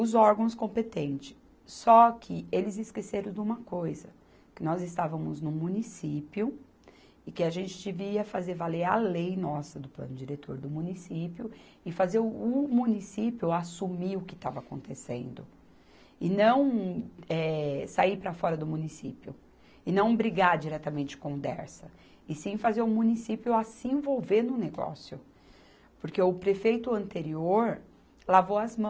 os órgãos competentes, só que eles esqueceram de uma coisa que nós estávamos no município e que a gente devia fazer valer a lei nossa do plano diretor do município e fazer o, o município assumir o que estava acontecendo e não, eh, sair para fora do município e não brigar diretamente com o Dersa e sim fazer o município a se envolver no negócio porque o prefeito anterior lavou as mãos